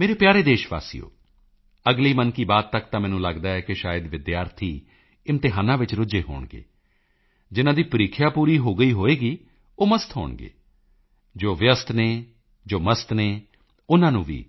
ਮੇਰੇ ਪਿਆਰੇ ਦੇਸ਼ਵਾਸੀਓ ਅਗਲੀ ਮਨ ਕੀ ਬਾਤ ਤੱਕ ਤਾਂ ਮੈਨੂੰ ਲਗਦਾ ਹੈ ਕਿ ਸ਼ਾਇਦ ਵਿਦਿਆਰਥੀ ਇਮਤਿਹਾਨਾਂ ਵਿੱਚ ਰੁੱਝੇ ਹੋਣਗੇ ਜਿਨ੍ਹਾਂ ਦੀ ਪ੍ਰੀਖਿਆ ਪੂਰੀ ਹੋ ਗਈ ਹੋਵੇਗੀ ਉਹ ਮਸਤ ਹੋਣਗੇ ਜੋ ਵਿਅਸਤ ਹਨ ਜੋ ਮਸਤ ਹਨ ਉਨ੍ਹਾਂ ਨੂੰ ਵੀ